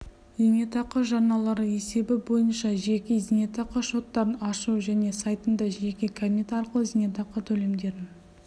зейнетақы жарналары есебі бойынша жеке зейнетақы шоттарын ашу және сайтында жеке кабинет арқылы зейнетақы төлемдерін